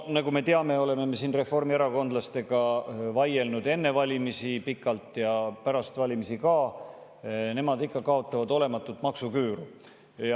Nagu me teame, oleme siin reformierakondlastega vaielnud enne valimisi pikalt ja pärast valimisi ka sellel teemal, et nemad ikka kaotavad olematut maksuküüru.